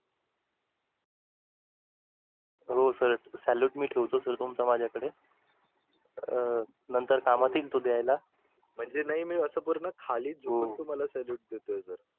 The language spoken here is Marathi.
हो sirsalute मी ठेवतो sir तुमचा माझ्याकडे अं नंतर कामात येईल तो देईला. म्हणजे नाही मी अस पूर्ण खाली झुकून तुम्हाला salute देतोय sir.